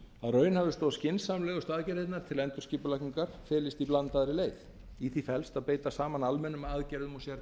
að raunhæfustu og skynsamlegustu aðgerðirnar til endurskipulagningar felist í blandaðri leið í því felst að beita saman almennum aðgerðum